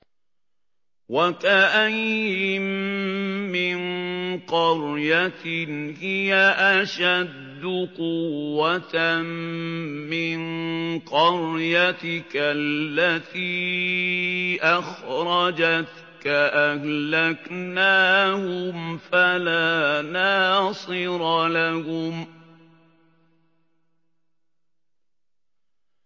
وَكَأَيِّن مِّن قَرْيَةٍ هِيَ أَشَدُّ قُوَّةً مِّن قَرْيَتِكَ الَّتِي أَخْرَجَتْكَ أَهْلَكْنَاهُمْ فَلَا نَاصِرَ لَهُمْ